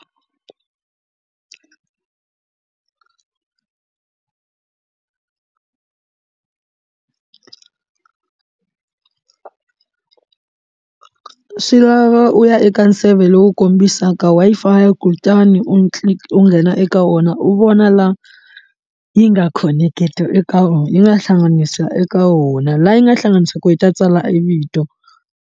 Swi lava u ya eka a nseve lowu kombisaka Wi-Fi kutani u nghena eka wona u vona laha yi nga khoneketi eka yi nga hlanganisa eka wona laha yi nga hlanganisa ku yi ta tswala e vito.